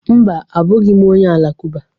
Mba, abụghị m onye Alakụba